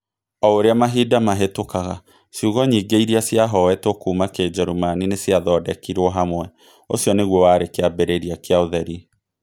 O ũrĩa mahinda mahetũkaga, ciugo nyingĩ iria ciahoetwo kuuma Kĩnjeruĩmani nĩ ciathondekirũo hamwe. Ũcio nĩguo warĩ kĩambĩrĩria kĩa ũtheri.